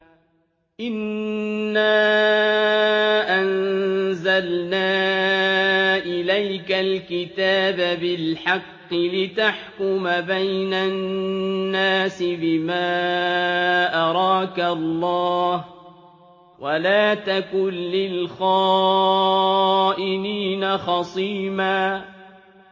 إِنَّا أَنزَلْنَا إِلَيْكَ الْكِتَابَ بِالْحَقِّ لِتَحْكُمَ بَيْنَ النَّاسِ بِمَا أَرَاكَ اللَّهُ ۚ وَلَا تَكُن لِّلْخَائِنِينَ خَصِيمًا